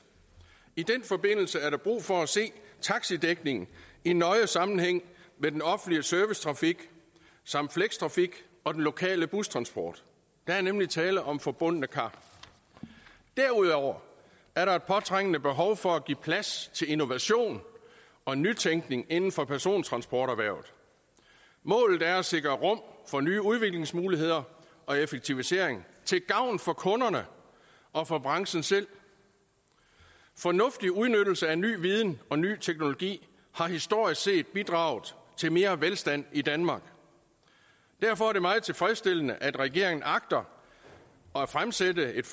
i den forbindelse er der brug for at se taxidækningen i nøje sammenhæng med den offentlige servicetrafik samt flextrafik og den lokale bustransport der er nemlig tale om forbundne kar derudover er der et påtrængende behov for at give plads til innovation og nytænkning inden for persontransporterhvervet målet er at sikre rum for nye udviklingsmuligheder og effektivisering til gavn for kunderne og for branchen selv fornuftig udnyttelse af ny viden og ny teknologi har historisk set bidraget til mere velstand i danmark derfor er det meget tilfredsstillende at regeringen agter at fremsætte et